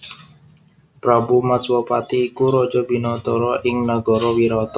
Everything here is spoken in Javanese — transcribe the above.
Prabu Matswapati iku raja binathara ing nagara Wirata